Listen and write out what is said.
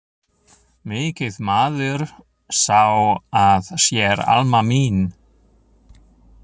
Mikið maður sá að sér Alma mín.